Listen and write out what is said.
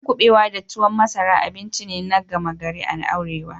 Miyan kubewa da tuwon masara abinci ne gama gari a Arewa.